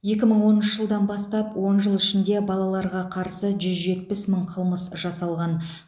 екі мың оныншы жылдан бастап он жыл ішінде балаларға қарсы жүз жетпіс мың қылмыс жасалған